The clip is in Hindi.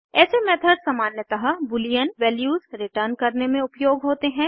ऐसे मेथड्स सामान्यतः बूलियन वैल्यूज रिटर्न करने में उपयोग होते हैं